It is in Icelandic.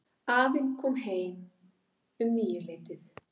Afinn kom heim um níuleytið.